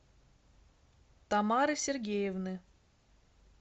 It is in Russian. тамары сергеевны